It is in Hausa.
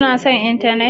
Kuna son intanet?